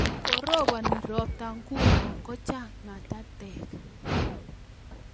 Koroboni ropta nguno kochang ngetetek